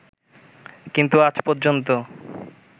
কিন্তু আজ পর্যন্ত